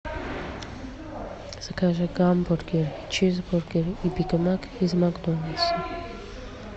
закажи гамбургер чизбургер и бигмак из макдональдса